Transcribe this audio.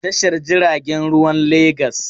Likitoci na aiki a Tashar jiragen ruwan Legas.